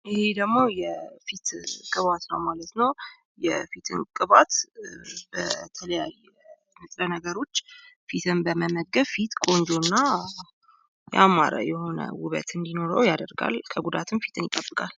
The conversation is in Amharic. ይህ ደግሞ የፊት ቅባት ነው ማለት ነው። የፊትም ቅባት ከተለያየ ንጥረ ነገሮች ፊትን በመመገብ ፊትን ቆንጆና የሆነ ያማረ ውበት እንዲኖር ያደርጋል እንዲሁም ከጉዳት ፊትን ይጠብቃል።